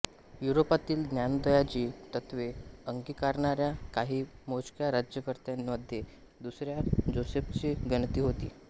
युरोपातील ज्ञानोदयाची तत्त्वे अंगिकारणाऱ्या काही मोजक्या राज्यकर्त्यांमध्ये दुसऱ्या जोसेफची गणती होते